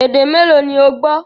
Èdè mẹ́ẹ́lo ni ó gbọ́?